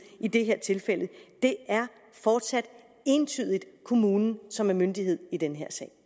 i det her tilfælde det er fortsat entydigt kommunen som er myndighed i den